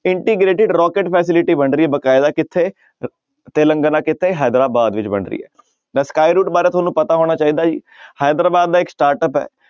Integrated rocket facility ਬਣ ਰਹੀ ਹੈ ਬਕਾਇਦਾ ਕਿੱਥੇ ਤਿਲੰਗਨਾ ਕਿੱਥੇ ਹੈਦਰਾਬਾਦ ਵਿੱਚ ਬਣ ਰਹੀ ਹੈ ਤਾਂ sky route ਬਾਰੇ ਤੁਹਾਨੂੰ ਪਤਾ ਹੋਣਾ ਚਾਹੀਦਾ ਹੀ ਹੈਦਰਾਬਾਦ ਦਾ ਇੱਕ startup ਹੈ